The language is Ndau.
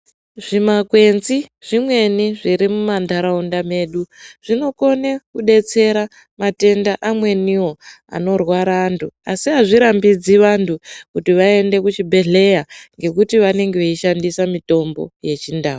Zvimakwenzi zvimweni zviri mumandaraunda medu zvinokone kudetsera matenda amweniwo anorwara antu ,asi azvirambidzwi antu kuti aende kuzvibhedhleya ngekuti vanenge vaishandisa mitombo yechindau